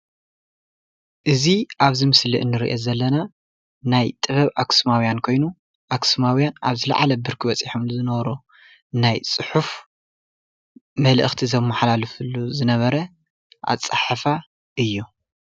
እዚ ኣብዚ ምሰሊ እንሪኦ ዘለና ናይ ጥበብ ኣኽሱማውያን ኮይኑ ኣኽሱማውያን ኣብ ዝለዓለ ብርኪ በፂሖሙሉ ዝነበሩ ናይ ፅሑፍ መልእኽቲ ዘመሓላልፉሉ ዝነበረ ኣፀሓሕፋ እዩ፡፡